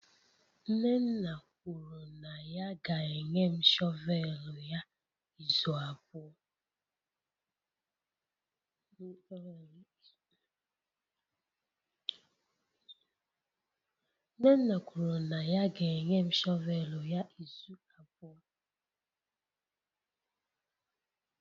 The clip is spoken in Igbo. nnenna kwuru na ya ga-enye m shọvel ya izu abụọ.